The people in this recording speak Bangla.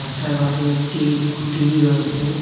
রাস্তার পাশে একটি খুঁটি রয়েসে ।